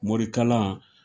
Morikalan